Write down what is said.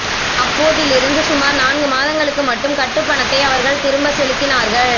அப்போதிருந்து சுமார் நான்கு மாதங்களுக்கு மட்டும் கட்டுப் பணத்தை அ வர்கள் திரும்பச் செலுத்தினார்கள்